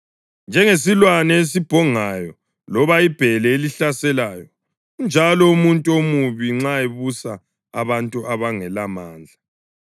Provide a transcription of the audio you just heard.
Njengesilwane esibhongayo loba ibhele elihlaselayo unjalo umuntu omubi nxa ebusa abantu abangelamandla.